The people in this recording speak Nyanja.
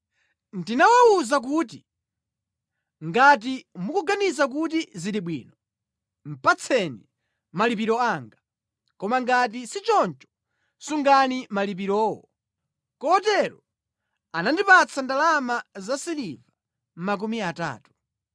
Ndinawawuza kuti, “Ngati mukuganiza kuti zili bwino, patseni malipiro anga; koma ngati si choncho, sungani malipirowo.” Kotero anandipatsa ndalama zasiliva makumi atatu.